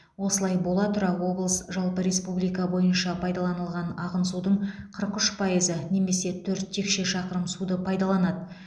осылай бола тұра облыс жалпы республика бойынша пайдаланылған ағын судың қырық үш пайызы немесе төрт текше шақырым суды пайдаланады